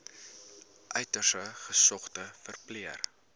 uiters gesogde verpleër